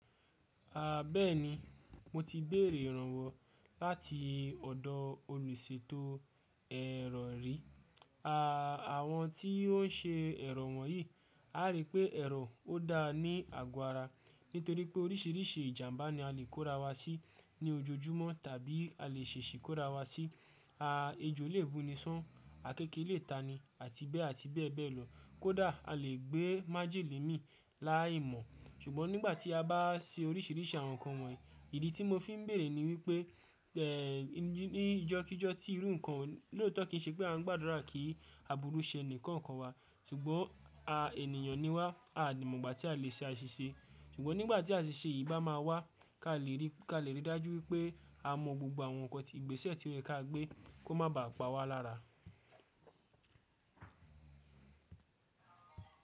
A bẹ́ẹ̀ni, mo ti béèrè ìrànwọ́ láti ọ̀dọ̀ olùṣètò ẹ̀rọ ri. Àwọn tí ó ń ṣe ẹ̀rọ wọ̀nyí, a rí pé ẹ̀rọ ó dáa ní àgọ́ ara nítorí pé oríṣìíríṣìí ìjàmbá ni a lè kórawá sí ní ojoojúmọ́ tàbí a lè ṣèṣì kórawá sí. Ejo lè bù ni sán, akeke lè tani àti bẹ́ẹ̀ àti bẹ́ẹ̀ bẹ́ẹ̀ lọ. Kódà a lè gbé májèlé mì láìmọ̀. Ṣùgbọ́n nígbà tí a bá ṣe oríṣìíríṣìí àwọn nǹkan wọ̀nyí, ìdí tí mo fi ń béèrè ni wípé ní ìjọ́kíjọ́ tí irú nǹkan lòótọ́ kì í ṣe pé a ń gbàdúrà kí àbúrú ṣe ẹnìkan kankan wá. Ṣùgbọ́n a ènìyàn ni wá, a ò mọ̀ ìgbà tí a lè ṣe àṣìṣe. Ṣùgbọ́n nígbà tí àṣìṣe yìí bá máa wá, ká lè ríi, ká lè rí i dájú wípé a mọ gbogbo àwọn nkan ti ìgbésẹ̀ to yẹ̀ ká gbé kó má ba à pa wá lára.